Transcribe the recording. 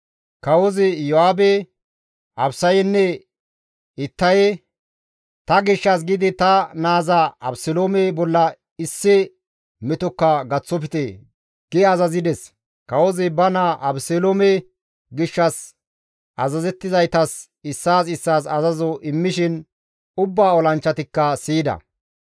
Kawozi Iyo7aabe, Abisanne Ittaye, «Ta gishshas giidi ta naaza Abeseloome bolla issi metokka gaththofte» gi azazides. Kawozi ba naa Abeseloome gishshas azazizaytas issaas issaas azazo immishin ubba olanchchatikka siyida.